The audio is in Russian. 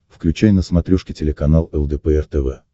включай на смотрешке телеканал лдпр тв